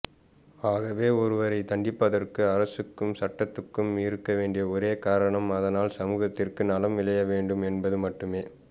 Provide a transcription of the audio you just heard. ஆகவே ஒருவரை தண்டிப்பதற்கு அரசுக்கும் சட்டத்துக்கும் இருக்கவேண்டிய ஒரே காரணம் அதனால் சமூகத்திற்கு நலம் விளையவேண்டும் என்பது மட்டுமே